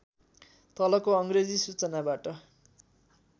तलको अङ्ग्रेजी सूचनाबाट